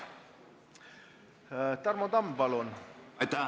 Tarmo Tamm, palun!